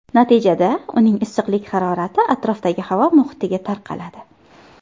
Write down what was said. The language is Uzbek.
Natijada uning issiqlik harorati atrofdagi havo muhitiga tarqaladi.